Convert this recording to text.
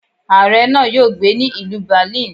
Aare náà yóò gbé ní ìlú Berlin.